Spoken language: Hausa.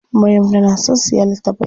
Maryam tana son siya littafai.